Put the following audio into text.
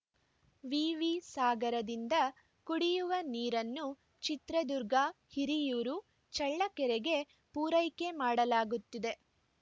ವಿವಿ ಸಾಗರದಿಂದ ಕುಡಿಯುವ ನೀರನ್ನು ಚಿತ್ರದುರ್ಗ ಹಿರಿಯೂರು ಚಳ್ಳಕೆರೆಗೆ ಪೂರೈಕೆ ಮಾಡಲಾಗುತ್ತಿದೆ